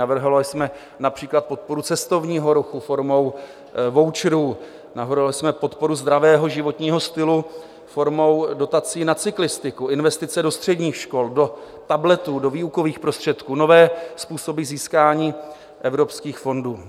Navrhovali jsme například podporu cestovního ruchu formou voucherů, navrhovali jsme podporu zdravého životního stylu formou dotací na cyklistiku, investice do středních škol, do tabletů, do výukových prostředků, nové způsoby získání evropských fondů.